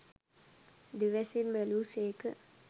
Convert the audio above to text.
දිවැසින් බැලූසේක.